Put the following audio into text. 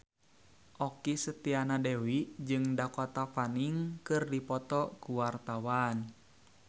Okky Setiana Dewi jeung Dakota Fanning keur dipoto ku wartawan